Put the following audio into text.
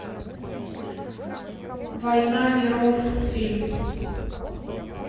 война миров фильм